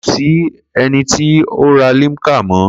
Ko si eniti o ra limca mọ.